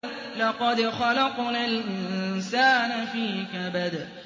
لَقَدْ خَلَقْنَا الْإِنسَانَ فِي كَبَدٍ